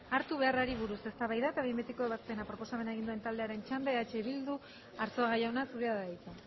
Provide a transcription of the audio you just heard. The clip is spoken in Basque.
hartu beharrari buruz eztabaida eta behin betiko ebazpena proposamena egin duen taldearen txanda eh bildu arzuaga jauna zurea da hitza